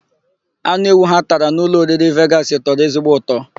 Anụ ewu ha tara na ụlọoriri Vegasị tọrọ ezigbo ụtọ.